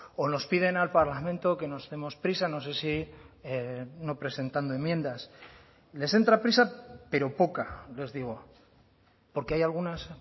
o nos piden al parlamento que nos demos prisa no sé si no presentando enmiendas les entra prisa pero poca les digo porque hay algunas